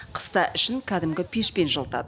қыста ішін кәдімгі пешпен жылытады